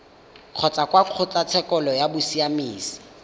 kgotsa kwa kgotlatshekelo ya bosiamisi